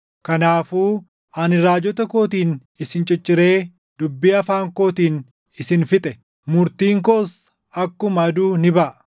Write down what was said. Kanaafuu ani raajota kootiin isin cicciree dubbii afaan kootiin isin fixe; murtiin koos akkuma aduu ni baʼa.